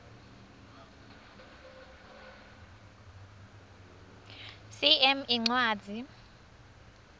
cm incwadzi